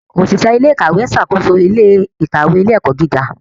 Oṣiṣẹ ilé-ìkawe n ṣàkóso ilé-ìkawe ilé-ẹkọ gíga.